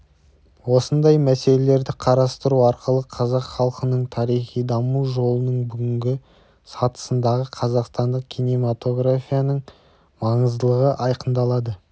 осындай мәселелерді қарастыру арқылы қазақ халқының тарихи даму жолының бүгінгі сатысындағы қазақстандық кинематографияның маңыздылығы айқындалды